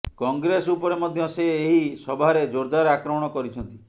କଂଗ୍ରେସ ଉପରେ ମଧ୍ୟ ସେ ଏହି ସଭାରେ ଜୋରଦାର ଆକ୍ରମଣ କରିଛନ୍ତି